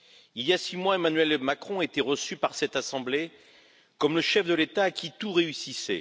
Il y a six mois, Emmanuel Macron était reçu par cette assemblée comme le chef de l'État à qui tout réussissait.